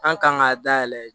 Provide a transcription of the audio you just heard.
An kan k'a dayɛlɛ